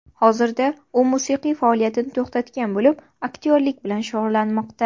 Hozirda u musiqiy faoliyatini to‘xtatgan bo‘lib, aktyorlik bilan shug‘ullanmoqda.